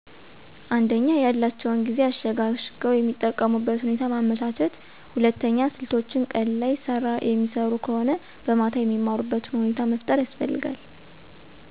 አንደኛ፦ ያላቸውን ጊዜ አሸጋሽገዉ የሚጠቀሙበት ሁኔታ ማመቻቸት ሁለተኛ፦ ስልቶች ቀን ላይ ስራ የሚሰሩ ከሆነ በማታ የሚማሩበትን ሁኔታ መፍጠር ያስፈልጋል።